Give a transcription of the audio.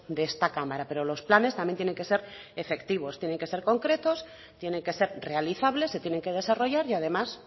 de esta cámara pero los planes también tienen que ser efectivos tienen que ser concretos tienen que ser realizables se tienen que desarrollar y además